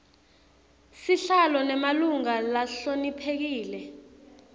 sihlalo nemalunga lahloniphekile